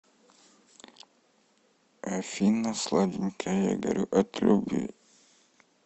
афина сладенькая я горю от любви